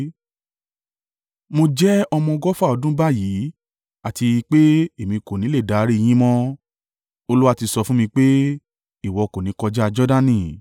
“Mo jẹ́ ọmọ ọgọ́fà ọdún báyìí àti pé èmi kò ni lè darí i yín mọ́. Olúwa ti sọ fún mi pé, ‘Ìwọ kò ní kọjá Jordani.’